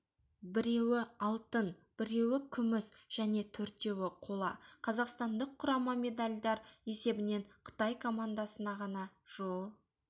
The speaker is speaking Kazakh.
біреуі алтын біреуі күміс және төртеуі қола қазақстандық құрама медальдер есебінен қытай командасына ғана жол